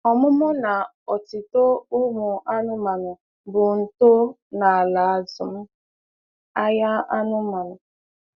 Ọmụmụ na otito umu anụmanụ bụ ntọo na ala azụm ahia anụmanụ.